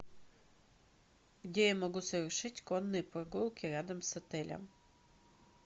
где я могу совершить конные прогулки рядом с отелем